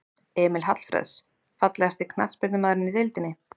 Emil Hallfreðs Fallegasti knattspyrnumaðurinn í deildinni?